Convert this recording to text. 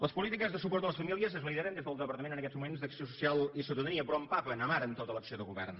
les polítiques de suport a les famílies es lideren des del departament en aquests moments d’acció social i ciutadania però amaren tota l’acció de govern